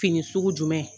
Fini sugu jumɛn